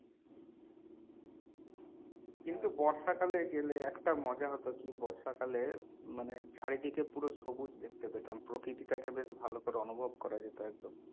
কিন্তু বর্ষাকালে গেলে একটা মজা হতো কি বর্ষাকালে মানে চারিদিকে পুরো সবুজ দেখতে পেতাম প্রকৃতিটাকে বেশ ভালো করে অনুভব করা যেত একদম